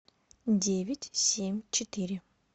девять семь четыре